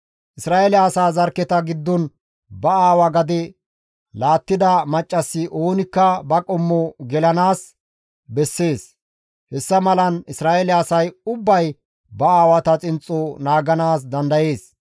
Isra7eele asaa zarkketa giddon ba aawa gade laattida maccassi oonikka ba qommo gelanaas bessees; hessa malan Isra7eele asay ubbay ba aawata xinxxo naaganaas dandayees.